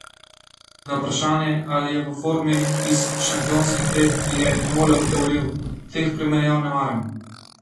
Na vprašanje, ali je v formi iz šampionskih let, je Nole odgovoril: "Teh primerjav ne maram.